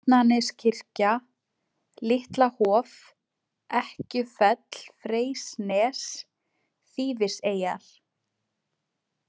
Bjarnaneskirkja, Litla-Hof, Ekkjufell-Freysnes, Þýfiseyjar